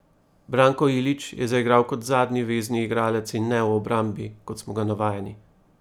Branko Ilić je zaigral kot zadnji vezni igralec in ne v obrambi, kot smo ga navajeni.